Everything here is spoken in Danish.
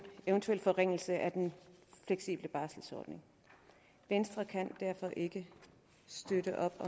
eventuel forringelse af den fleksible barselsorlov venstre kan derfor ikke støtte op